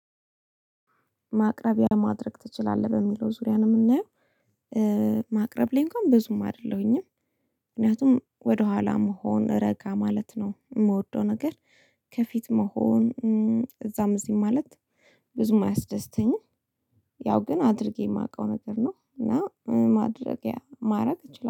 ማቅረብያ ማድረግ ትችላለህ በሚለው ዙሪያ ነው የምናየው ማቅረብ ላይ እንኳን በዙም አይደለሁኝም። ምክንያቱም ወደኋላ መሆን ረጋ ማለት ነው የምወደው ነገር ከፊት መሆን እዛም እዚህ ማለት ብዙም አያስደስተኝም። ያው ግን አድርጌ የማውቀው ነገር ነው እና ማድረጊያ ማድረግ እችላለሁ